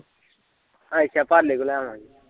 ਅੱਛਾ ਪਾਲੇ ਤੋਂ ਲੈ ਆਉਂਡੇ ਆ